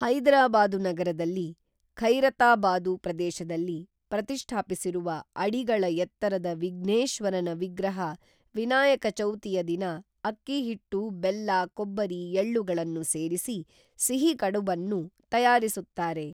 ಹೈದರಾಬಾದು ನಗರದಲ್ಲಿ ಖೈರತಾಬಾದು ಪ್ರದೇಶದಲ್ಲಿ ಪ್ರತಿಷ್ಠಾಪಿಸಿರುವ ಅಡಿಗಳ ಎತ್ತರದ ವಿಘ್ನೇಶ್ವರನ ವಿಗ್ರಹ ವಿನಾಯಕ ಚೌತಿಯ ದಿನ ಅಕ್ಕಿಹಿಟ್ಟು ಬೆಲ್ಲ ಕೊಬ್ಬರಿ ಎಳ್ಳುಗಳನ್ನು ಸೇರಿಸಿ ಸಿಹಿ ಕಡುಬನ್ನು ತಯಾರಿಸುತ್ತಾರೆ